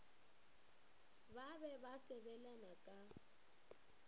ba be ba sebelana ka